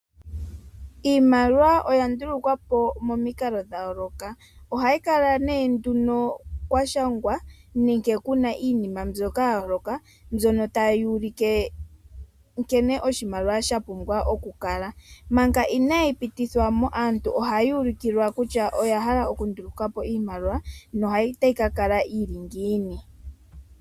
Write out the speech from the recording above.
Iimaliwa oya ndulukwa momikalo dhayooloka, ohayi kala nee nduno kwa shangwa nenge Kuna iinima mbyoka yayooloka mbyono tayi ulike nkene oshimaliwa sha pumbwa oku kala. Manga inaayi pitithwa mo aantu ohaya ulikilwa kutya oya hala oku ndulukapo oshimaliwa na otayi ka kala yili ngiini.